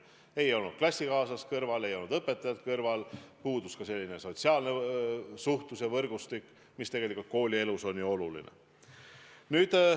Ei olnud klassikaaslast kõrval, ei olnud õpetajat kõrval, puudus ka sotsiaalne suhtlus ja võrgustik, mis tegelikult koolielus on ju oluline.